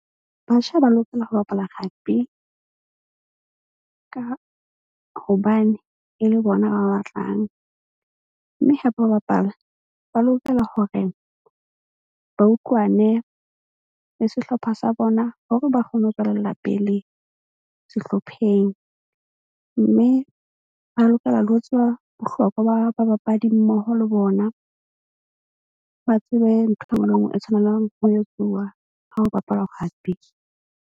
Batjha ba lokela ho bapala rugby ka hobane e le bona ba batlang. Mme hape ho bapala ba lokela hore ba utlwane le sehlopha sa bona hore ba kgone ho tswelella pele sehlopheng. Mme ba lokela le ho tseba bohlokwa ba babapadi mmoho le bona. Ba tsebe ntho e nngwe le e nngwe e tshwanelang ho etsuwa ha ho bapalwa rugby.